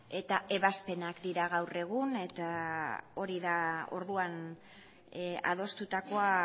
eta ebazpenak dira gaur egun eta hori da orduan adostutakoa